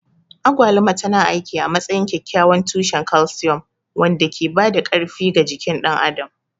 Agwaluma tana aiki a matsayin kyakkyawan tushen calcium wanda ke ba da ƙarfi ga jikin ɗan adam.